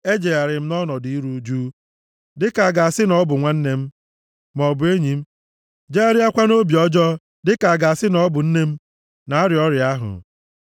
ejegharịrị m nʼọnọdụ iru ụjụ, dịka a ga-asị na ọ bụ nwanne m, maọbụ enyi m, jegharịakwa nʼobi ọjọọ dịka a ga-asị na ọ bụ nne m na-arịa ọrịa ahụ.